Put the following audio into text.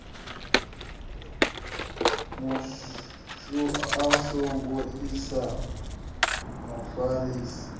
mufu a songo sia mufarisi